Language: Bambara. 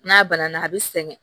N'a banna a bɛ sɛgɛn